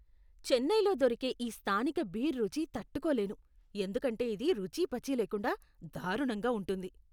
చెన్నైలో దొరికే ఈ స్థానిక బీర్ రుచి తట్టుకోలేను ఎందుకంటే ఇది రుచీపచీ లేకుండా దారుణంగా ఉంటుంది.